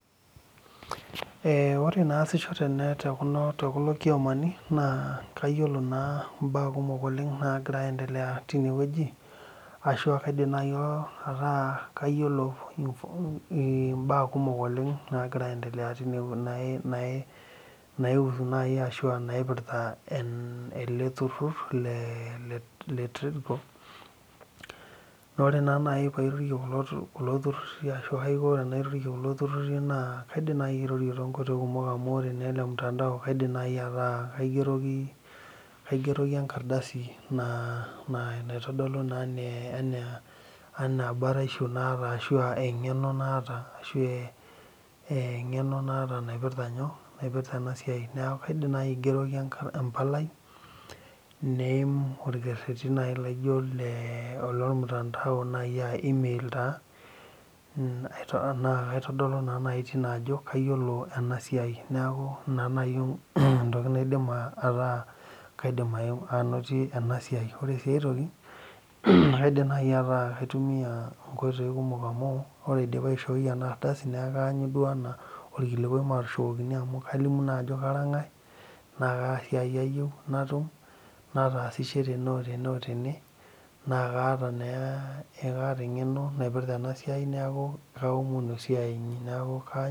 Eeh ore enaasisho tekulo kiomani naa kayiolo naa imbaa kumok oleng naa giraa aaendelea tenewueji ashau kaidim naaji ataa kayiolo imbaa kumok naagira aaendelea tine wueji naipirta ele turur le tripoko naa ore naa naaji pairorie kulo tururi ashua enaiko pairorie kulo tururi naa indiim naaji airorie toonkoitoi kumok amu ore mutandao kaidim naaji ataa kaigeroki enkardasi naitodolu enaa baraisho naata anaa eng'eno naata naipirta ena siai neeku kaidim naaji aigeroki embalai orekereri naaji le ormutandao naaji aa Emil taa naa kaitodolu naaji tine ajo kayiolo ena siai neeku ina naaji entoki naidim ajo etaa kaidim anotie ena siai ore sii ae toki naakaidim naaji ataa kaitumiya inkoitoi kumok amu ore pee aidim aishoi ena ardasi neeku kaidim ataanyu orkilikua maatushukokini ashua kalimu naa ajo kara ng'ae naa kaa siai ayieu natum nataasishe tene otene naa kaata eng'eno naipirta ena siai neeku kaumonu esiai inyi